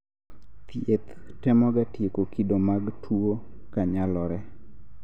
thieth temoga tieko kido mag tuwo ka nyalore